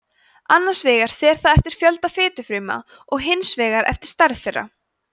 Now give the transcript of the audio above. annars vegar fer það eftir fjölda fitufrumna og hins vegar eftir stærð þeirra